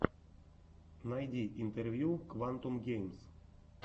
найди интервью квантум геймс